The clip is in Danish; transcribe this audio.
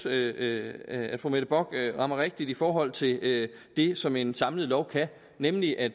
at fru mette bock rammer rigtigt i forhold til det som en samlet lov kan nemlig at